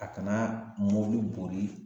A kana mɔbili boli